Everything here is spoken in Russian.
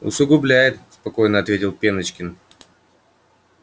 усугубляет спокойно ответил пеночкин